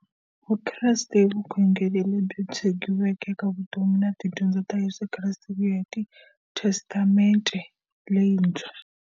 Vukreste i vukhongeri lebyi tshegiweke eka vutomi na tidyondzo ta Yesu Kreste kuya hi testamente leyintshwa.